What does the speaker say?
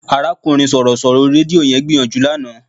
Arákùnrin Sọ̀rọ̀ṣọ̀rọ̀ orí rédíò yẹn gbìyànjú lánàá